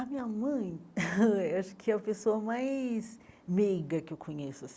A minha mãe, eh acho que é a pessoa mais meiga que eu conheço.